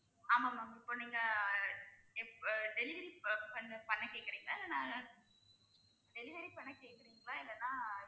ஆமா ma'am இப்ப நீங்க இப்ப delivery பண்ண பண்ண கேட்கிறீங்களா இல்லனா delivery பண்ண கேக்குறீங்களா இல்லைன்னா